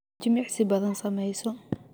jimicsi badan sameyso